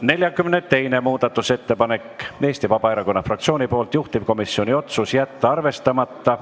42. muudatusettepanek on Eesti Vabaerakonna fraktsioonilt, juhtivkomisjoni otsus: jätta arvestamata.